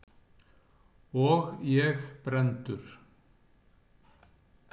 Og ég brenndur.